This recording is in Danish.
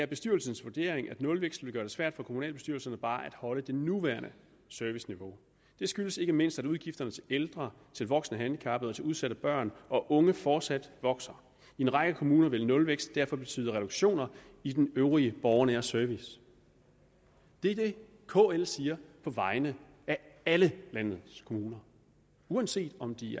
bestyrelsens vurdering at nulvækst vil gøre det svært for kommunalbestyrelserne bare at holde det nuværende serviceniveau det skyldes ikke mindst at udgifterne til ældre til voksne handicappede og til udsatte børn og unge fortsat vokser i en række kommuner vil nulvækst derfor betyde reduktioner i den øvrige borgernære service det er det kl siger på vegne af alle landets kommuner uanset om de